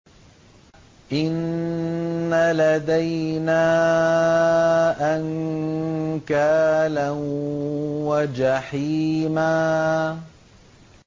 إِنَّ لَدَيْنَا أَنكَالًا وَجَحِيمًا